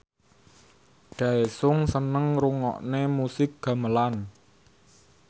Daesung seneng ngrungokne musik gamelan